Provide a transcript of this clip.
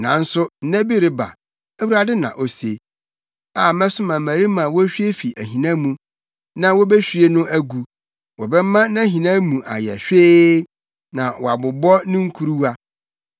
Nanso nna bi reba,” Awurade na ose, “a mɛsoma mmarima a wohwie fi ahina mu, na wobehwie no agu; wɔbɛma nʼahina mu ayɛ hwee na wɔabobɔ ne nkuruwa.